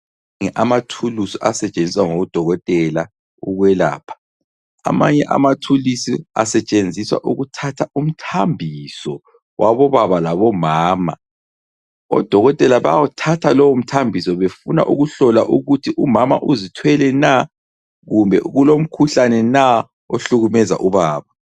Amathulusi asetshenziswa ngodokotela ukwelapha. Amanye amathulisi asetshenziswa ukuthatha umthambiso wabobaba labomama, odokotela bayawuthatha lowo mthambiso befuna ukuhlola ukuthi umama uzithwele na kumbe kulomkhuhlane na ohlukumeza ubaba.